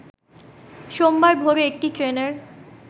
সোমবার ভোরে একটি ট্রেনের